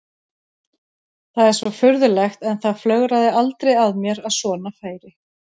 Það er svo furðulegt en það flögraði aldrei að mér að svona færi.